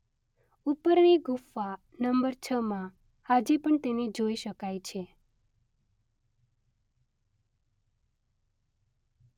ઉપરની ગુફા નંબર છ માં આજે પણ તેને જોઈ શકાય છે.